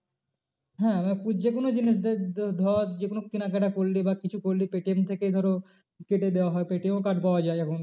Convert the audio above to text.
হ্যাঁ যে কোনো জিনিস ধর যে কোনো কেনাকাটা করলি বা কিছু করলি পেটিএম থেকে ধরো কেটে দেওয়া হয় পেটিএম ও card পাওয়া যায় এখন।